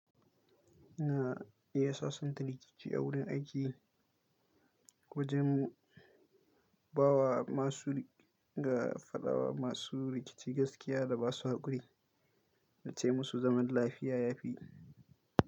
Na iya sasanta rikici a wurin aiki wajen ba wa masu rik ga fadawa masu rikici gaskiya da ba su hakuri, na ce musu zaman lafiya ya fi.